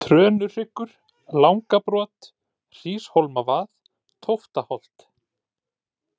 Trönuhryggur, Langabrot, Hríshólmavað, Tóftaholt